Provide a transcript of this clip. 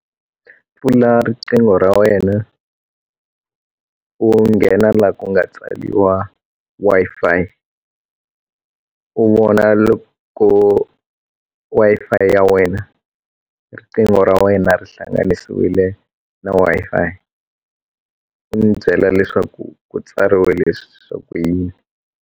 Pfula riqingho ra wena u nghena laha ku nga tsariwa Wi-Fi u vona loko Wi-Fi ya wena riqingho ra wena ri hlanganisiwile na Wi-Fi u n'wi byela leswaku ku tsariwe leswaku yini.